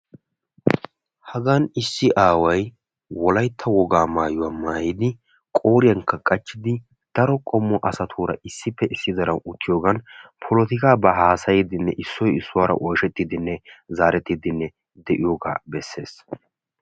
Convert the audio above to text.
Hagan issi aaway wolaytta wogaa maayuwa maayiddi qooriyankka qachchiddi polotikkaba haasayiddinne kaa'iddi de'ees.